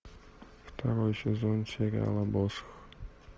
второй сезон сериала босх